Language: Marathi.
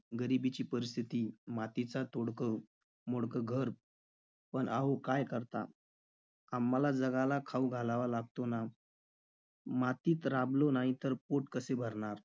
गरिबीची परिस्थिती, मातीचा तोडकं मोडकं घर. पण अहो काय करता? आम्हाला जगाला खाऊ घालावं लागतो ना? मातीत राबलो नाही तर पोट कसे भरणार?